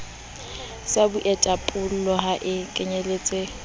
sa boithapollo ha e kenyeletse